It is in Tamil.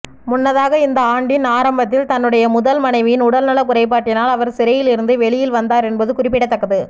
முன்னதாக இந்த ஆண்டின் ஆரம்பத்தில் தன்னுடைய முதல் மனைவியின் உடல்நல குறைபாட்டினால் அவர் சிறையிலிருந்து வெளியில் வந்தார் என்பது குறிப்பிடத்தக்கது